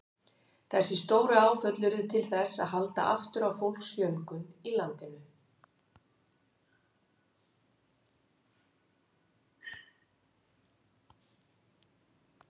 Þessi stóru áföll urðu til þess að halda aftur af fólksfjölgun í landinu.